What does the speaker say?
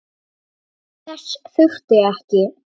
Þess þurfti ekki.